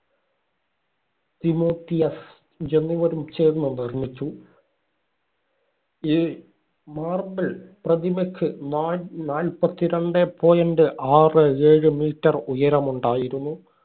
Timotheus എന്നിവരും ചേർന്നു നിർമിച്ചു. ഈ marble പ്രതിമയ്ക്ക് നാ~ നാല്പത്തി രണ്ടേ point ആറെ ഏഴ് meter ഉയരമുണ്ടായിരുന്നു.